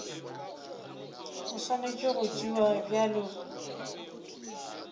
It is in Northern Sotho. e swanetše go tšewa bjalo